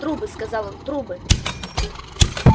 трубы сказал он трубы